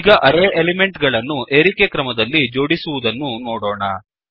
ಈಗ array element ಗಳನ್ನು ಏರಿಕೆ ಕ್ರಮದಲ್ಲಿ ಜೋಡಿಸುವುದನ್ನು ನೋಡೋಣ